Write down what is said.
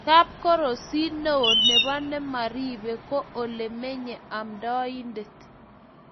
kapkorosie neoo nebo Namirebe ko ole menyei amdoindet.